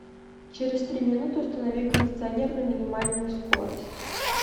через три минуты установи кондиционер на минимальную скорость